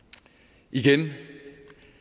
igen at